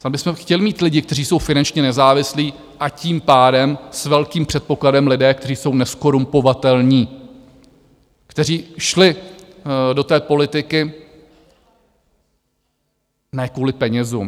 Tam bychom chtěli mít lidi, kteří jsou finančně nezávislí, a tím pádem s velkým předpokladem, lidé, kteří jsou nezkorumpovatelní, kteří šli do té politiky ne kvůli penězům.